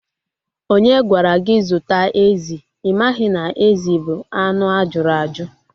Onye gwara gị zụta ezi? Ị maghị na ezi bụ anụ ajuru aju